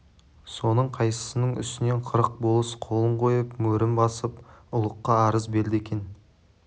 соның қайсысының үстінен қырық болыс қолын қойып мөрін басып ұлыққа арыз берді екен